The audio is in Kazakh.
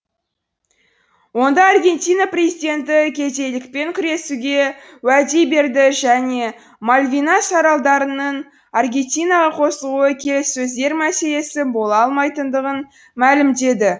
онда аргентина президенті кедейлікпен күресуге уәде берді және мальвинас аралдарының аргентинаға қосылуы келіссөздер мәселесі бола алмайтындығын мәлімдеді